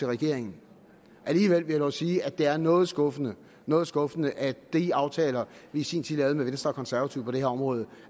regeringen alligevel vil jeg dog sige at det er noget skuffende noget skuffende at de aftaler vi i sin tid lavede med venstre konservative på det her område